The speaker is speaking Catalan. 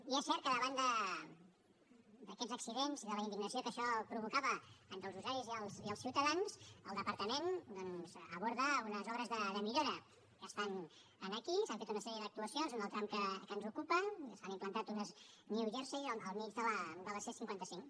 i és cert que davant d’aquests accidents i de la indignació que això provocava entre els usuaris i els ciutadans el departament doncs aborda unes obres de millora que estan aquí s’han fet una sèrie d’actuacions en el tram que ens ocupa s’han implantat unes new jersey al mig de la c cinquanta cinc